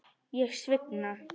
Ég svigna.